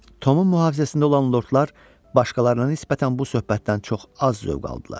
Tomun mühafizəsində olan lordlar başqalarına nisbətən bu söhbətdən çox az zövq aldılar.